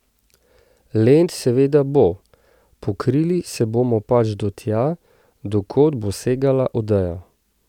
Lent seveda bo, pokrili se bomo pač do tja, do kod bo segala odeja.